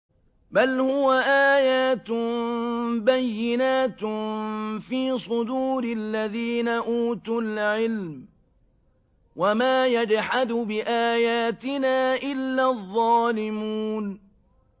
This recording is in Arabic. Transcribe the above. بَلْ هُوَ آيَاتٌ بَيِّنَاتٌ فِي صُدُورِ الَّذِينَ أُوتُوا الْعِلْمَ ۚ وَمَا يَجْحَدُ بِآيَاتِنَا إِلَّا الظَّالِمُونَ